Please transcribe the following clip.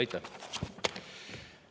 Aitäh!